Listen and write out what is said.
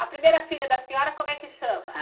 A primeira filha da senhora, como é que chama?